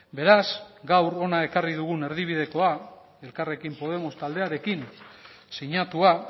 beraz gaur hona ekarri dugun erdibidekoa elkarrekin podemos taldearekin sinatua